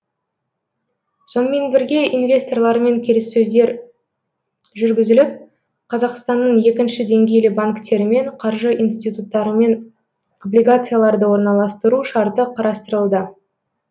сонымен бірге инвесторлармен келіссөздер жүргізіліп қазақстанның екінші деңгейлі банктерімен қаржы институттарымен облигацияларды орналастыру шарты қарастырылды